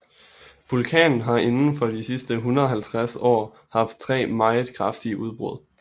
Vulkanen har indenfor de sidste 150 år haft tre meget kraftige udbrud